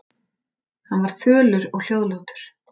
Hann var fölur og hljóðlátur.